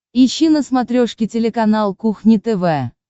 ищи на смотрешке телеканал кухня тв